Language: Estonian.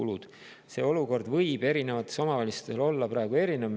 ] See olukord võib erinevates omavalitsustes praegu erinev olla.